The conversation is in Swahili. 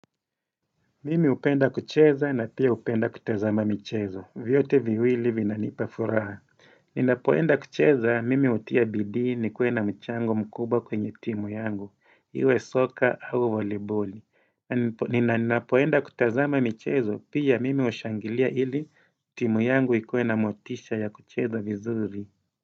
Mimi hupenda kucheza na pia upenda kutazama michezo, vyote viwili vinanipa furaha. Ninapoenda kucheza, mimi hutia bidi ni kuena mchango mkuba kwenye timu yangu, iwe soka au voliboli. Ninapoenda kutazama michezo, pia mimi hushangilia ili timu yangu ikuena motisha ya kucheza vizuri.